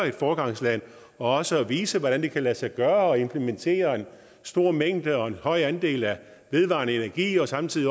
et foregangsland og vise hvordan det kan lade sig gøre at implementere en stor mængde og en høj andel af vedvarende energi og samtidig